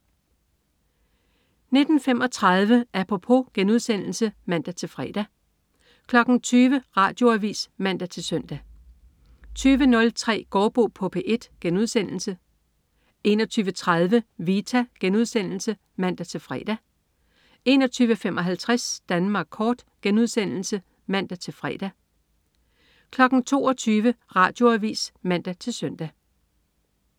19.35 Apropos* (man-fre) 20.00 Radioavis (man-søn) 20.03 Gaardbo på P1* 21.30 Vita* (man-fre) 21.55 Danmark kort* (man-fre) 22.00 Radioavis (man-søn)